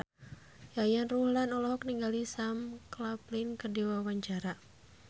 Yayan Ruhlan olohok ningali Sam Claflin keur diwawancara